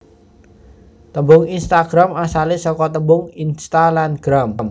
Tembung Instagram asale saka tembung Insta lan Gram